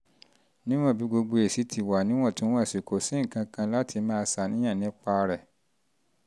níwọ̀n bí gbogbo níwọ̀n bí gbogbo èsì ti wà níwọ̀ntúnwọ̀nsì kò sí nǹkan kan láti máa ṣàníyàn nípa rẹ̀